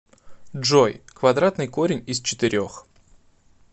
джой квадратный корень из четырех